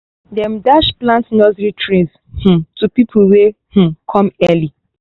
dem dash plant nursery trays um to pipo wey um come early